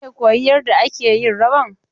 Wane ne koyi yarda ake yin rawan?